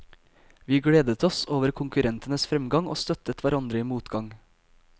Vi gledet oss over konkurrentenes fremgang og støttet hverandre i motgang.